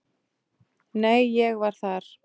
Nei, ég var þar